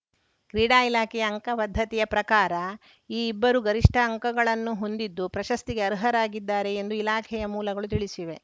ಕ್ರೀಡಾ ಇಲಾಖೆಯ ಅಂಕ ಪದ್ಧತಿಯ ಪ್ರಕಾರ ಈ ಇಬ್ಬರು ಗರಿಷ್ಠ ಅಂಕಗಳನ್ನು ಹೊಂದಿದ್ದು ಪ್ರಶಸ್ತಿಗೆ ಅರ್ಹರಾಗಿದ್ದಾರೆ ಎಂದು ಇಲಾಖೆಯ ಮೂಲಗಳು ತಿಳಿಸಿವೆ